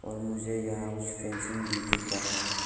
और मुझे यहां कुछ फेंसिंग भी दिख रहा है।